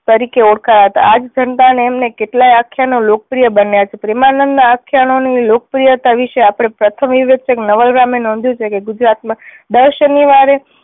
તરીકે ઓળખાયા હતા. આ જ જનતા ને તેમણે કેટલાય આખ્યાનો લોક પ્રિય બન્યા છે. પ્રેમાનંદ ના આખ્યાનો ની લોકપ્રિયતા વિષે આપણે પ્રથમ એ વિષે નવલરામે નોંધ્યું છે કે ગુજરાતમાં દર શનીવારે